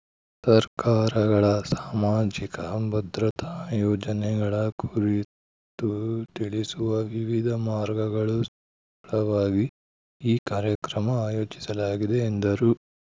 ಸರ್ಕಾರಗಳ ಸಾಮಾಜಿಕ ಭದ್ರತಾ ಯೋಜನೆಗಳ ಕುರಿತು ತಿಳಿಸುವ ವಿವಿಧ ಮಾರ್ಗಗಳು ಸಲುವಾಗಿ ಈ ಕಾರ್ಯಕ್ರಮ ಆಯೋಜಿಸಲಾಗಿದೆ ಎಂದರು